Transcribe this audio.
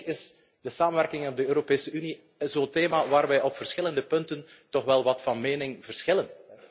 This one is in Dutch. Eigenlijk is de samenwerking aan de Europese Unie zo'n thema waar wij op verschillende punten toch wel wat van mening verschillen.